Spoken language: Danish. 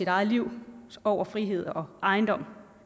eget liv over frihed og ejendom